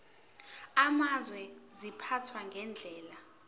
amazwe ziphathwa ngendlela